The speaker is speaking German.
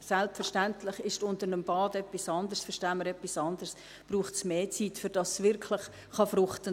Selbstverständlich verstehen wir unter einem Bad etwas anderes, und es braucht mehr Zeit, damit es wirklich fruchten kann.